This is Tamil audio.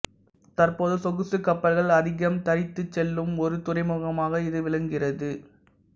தற்போது சொகுசுக்கப்பல்கள் அதிகம் தரித்துச் செல்லும் ஒரு துறைமுகமாக இது விளங்குகின்றது